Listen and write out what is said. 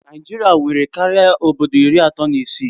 Naijiria nwere karịa obodo iri atọ na isii